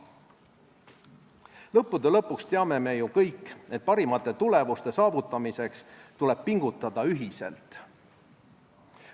Lõppude lõpuks teame ju kõik, et parimate tulemuste saavutamiseks tuleb pingutada ühiselt.